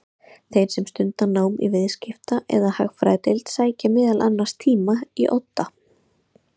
Þeir sem stunda nám í Viðskipta- eða Hagfræðideild sækja meðal annars tíma í Odda.